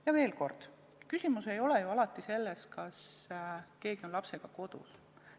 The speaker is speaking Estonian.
Ja veel kord: küsimus ei ole ju alati selles, kas keegi on lapsega kodus.